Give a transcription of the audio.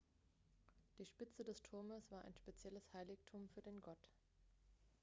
die spitze des turmes war ein spezielles heiligtum für den gott